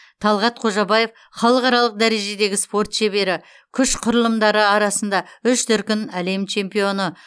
талғат қожабаев халықаралық дәрежедегі спорт шебері күш құрылымдары арасында үш дүркін әлем чемпионы